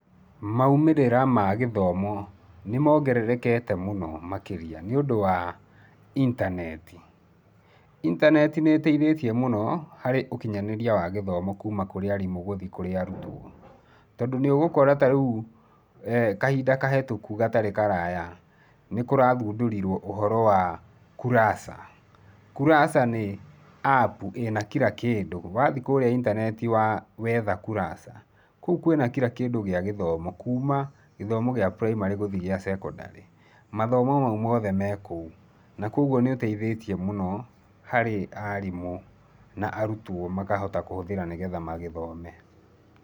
Maumĩrĩra ma gĩthomo nĩ moongererekete mũno makĩria nĩũndũ wa intaneti. Intaneti nĩ ĩteithĩtie mũno harĩ ũkinyanĩria wa gĩthomo kuuma kũrĩ arimũ gũthi kũrĩ arutwo. Tondũ nĩ ũgũkora ta rĩu, kahinda kahĩtũku, gatarĩ karaya, nĩ kũrathundũrirwo ũhoro wa Kurasa. Kurasa nĩ apu ĩna kira kĩndũ. Wa thi kũrĩa intaneti wetha Kurasa, kũu wĩna kira kĩndũ gĩa gĩthomo kuuma gĩthomo gĩa primary, gũthi gĩa secondary mathomo mau mothe me kũu. Na kwoguo nĩ ũteithĩtie mũno harĩ arimũ na arutwo, makahota kũhũthĩra nĩgetha magĩthome.